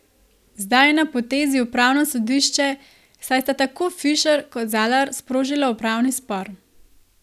Zdaj je na potezi upravno sodišče, saj sta tako Fišer kot Zalar sprožila upravni spor.